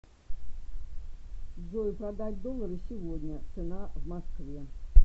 джой продать доллары сегодня цена в москве